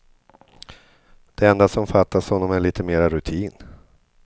Det enda som fattas honom är lite mera rutin.